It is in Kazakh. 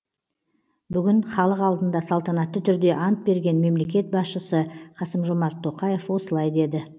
бүгін халық алдында салтанатты түрде ант берген мемлекет басшысы қасым жомарт тоқаев осылай деді